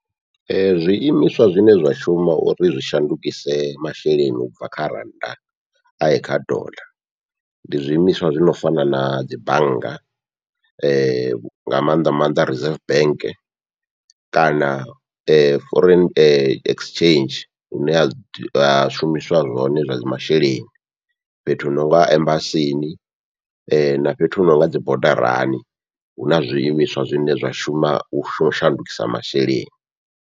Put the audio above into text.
Ee zwiimiswa zwine zwa shuma uri zwi shandukise masheleni ubva kha rannda aye kha dollar, ndi zwiimiswa zwi no fana nadzi bannga nga maanḓa maanḓa reserve bank kana foreign exchange hune ha ha shumiswa zwone zwa masheleni, fhethu hu nonga embasini na fhethu hu nonga dzibodarani huna zwiimiswa zwine zwa shuma u shandukisa masheleni.